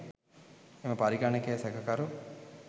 එම පරිගණකය සැකකරු